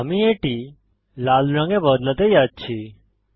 আমি এটি লাল রঙে বদলাতে যাচ্ছি